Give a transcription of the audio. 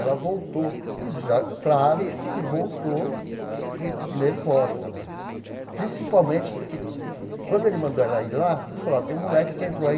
Ela voltou, e já claro que voltou nervosa né, principalmente porque, quando ele mandou ela ir lá, ele falou ó, tem um moleque que entrou aí